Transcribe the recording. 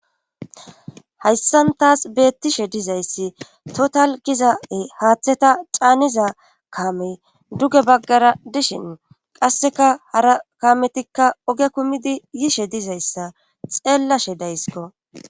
hayssan tasi beettishe dizayssi total giza7e haththeta caaniza kaamey duge baggara dishin qasseka hara kaametikka oge kumidi yishe dizayssa xeellashe dayskko.